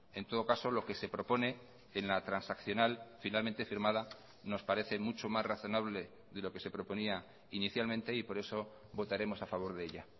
en todo caso lo que se propone en la transaccional finalmente firmada nos parece mucho más razonable de lo que se proponía inicialmente y por eso votaremos a favor de ella